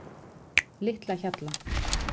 Litlahjalla